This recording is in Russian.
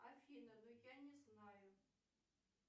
афина ну я не знаю